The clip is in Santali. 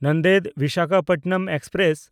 ᱱᱟᱱᱫᱮᱲ–ᱵᱤᱥᱟᱠᱷᱟᱯᱟᱴᱱᱟᱢ ᱮᱠᱥᱯᱨᱮᱥ